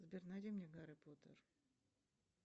сбер найди мне гарри поттер